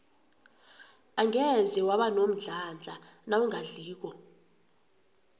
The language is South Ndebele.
angeze waba nomdlandla nawungadliko